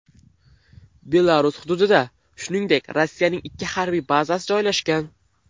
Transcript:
Belarus hududida, shuningdek, Rossiyaning ikki harbiy bazasi joylashgan.